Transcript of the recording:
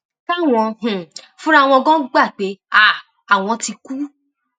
káwọn um fúnra wọn ganan gbà pé um àwọn ti kú